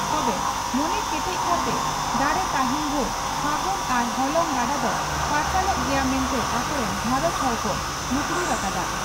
ᱛᱚᱵᱮ ᱢᱚᱱᱮ ᱠᱮᱴᱮᱡ ᱠᱟᱴᱮ ᱫᱟᱲᱮ ᱛᱟᱦᱮᱸᱱ ᱵᱷᱩᱨ ᱯᱷᱟᱹᱜᱩᱱ ᱟᱨ ᱦᱚᱞᱚᱝ ᱜᱟᱰᱟ ᱫᱚ ᱯᱟᱨᱥᱟᱞᱚᱜ ᱜᱮᱭᱟ ᱢᱮᱱᱛᱮ ᱟᱠᱚ ᱨᱤᱱ ᱜᱷᱟᱨᱚᱸᱡᱽ ᱦᱚᱲ ᱠᱚ ᱢᱩᱠᱨᱩᱲ ᱟᱠᱟᱫᱼᱟ ᱾